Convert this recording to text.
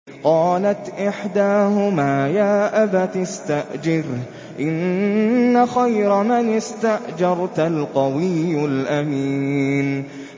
قَالَتْ إِحْدَاهُمَا يَا أَبَتِ اسْتَأْجِرْهُ ۖ إِنَّ خَيْرَ مَنِ اسْتَأْجَرْتَ الْقَوِيُّ الْأَمِينُ